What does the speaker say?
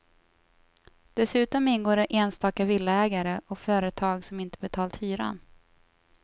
Dessutom ingår enstaka villaägare och företag som inte betalt hyran.